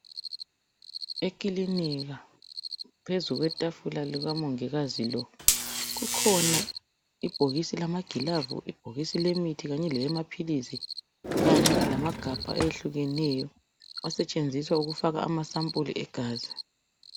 Ekilinika phezulu kwetafula lika mongikazi lo kukhona ibhokisi lamagilavu lebhokisi lemithi kanye leyamaphilisi kanye lamagabha ayehlukeneyo asetshenziswa ukufaka amasampuli egazi.